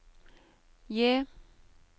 J